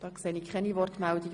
– Ich sehe keine Wortbegehren.